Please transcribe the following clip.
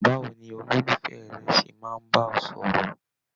Báwo ní ololufẹ rẹ ṣe máa n bá ọ sọ̀rọ̀?